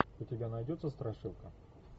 у тебя найдется страшилка